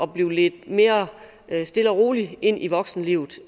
blev ledt mere stille og roligt ind i voksenlivet